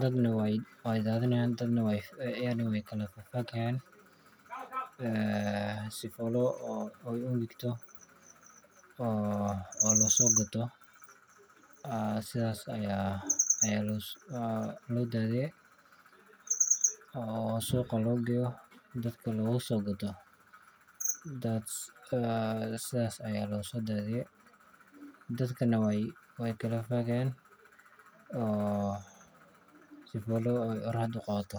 dadna waay daadin haayan dadna waay kala fagfagi haayan si aay uqalasho, oo looso gato, sidhaas ayaa loo daadiye, oo suuqa loo geeyo dadka looga soo gato, sidhaas ayaa losoo daadiye, dadkana weey kala faagi haayan oo si aay qoraxda uqabato.